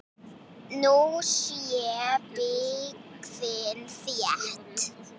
Nú sé byggðin þétt.